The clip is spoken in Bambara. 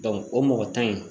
o mɔgɔ tan in